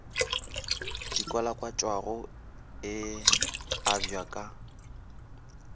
di kwalakwatšago e abja ka